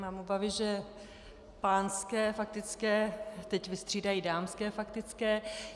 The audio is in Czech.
Mám obavy že pánské faktické teď vystřídají dámské faktické.